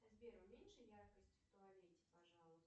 сбер уменьши яркость в туалете пожалуйста